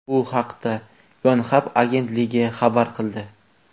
Bu haqda Yonhap agentligi xabar qildi .